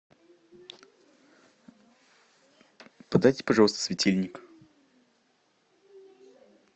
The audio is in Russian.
подайте пожалуйста светильник